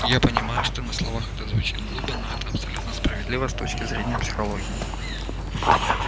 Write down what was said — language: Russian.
я понимаю что на словах это звучит глупо но это абсолютно справедливо с точки зрения психологии